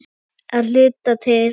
Að hluta til.